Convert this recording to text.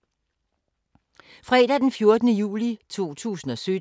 Fredag d. 14. juli 2017